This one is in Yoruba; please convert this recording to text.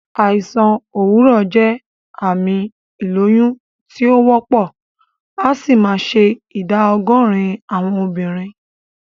Àìsàn òwúrọ̀ jẹ́ àmì ìlóyún tí o wópò, asì ma se ìdá ogórín àwon obìrin